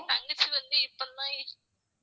தங்கச்சி வந்து